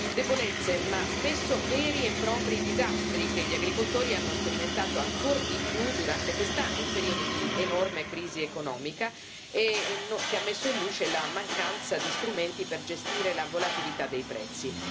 Debolezze ma spesso veri e propri disastri che gli agricoltori hanno sperimentato ancor di più durante quest'anno, un periodo di enorme crisi economica che ha messo in luce la mancanza di strumenti per gestire la volatilità dei prezzi.